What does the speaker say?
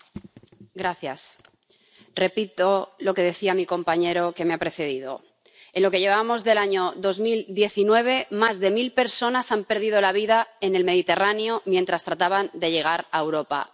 Señora presidenta, repito lo que decía mi compañero que me ha precedido. En lo que llevamos del año 2019 más de mil personas han perdido la vida en el Mediterráneo mientras trataban de llegar a Europa.